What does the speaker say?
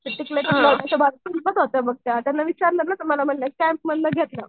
त्यांना विचारलं ना तर मला म्हणल्या कॅम्प मधनं घेतलं.